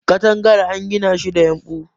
katagar an gina ta da yumbu